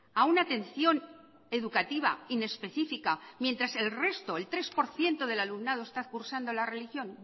a una atención educativa inespecífica mientras el resto el tres por ciento de alumnado está cursando la religión